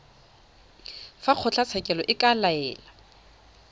fa kgotlatshekelo e ka laela